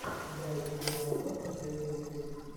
дайти де ногла последний выпуск